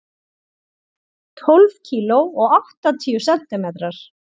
Tólf kíló og áttatíu sentimetrar.